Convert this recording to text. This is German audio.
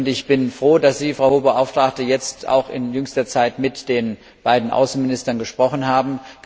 Ich bin froh, dass Sie, Frau Hohe Beauftragte, jetzt auch in jüngster Zeit mit den beiden Außenministern gesprochen haben.